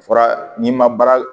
Fɔra n'i ma baara